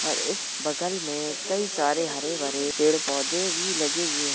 और इस बगल में कई सारे हरे भरे पेड़ पौधे भी लगे हुए --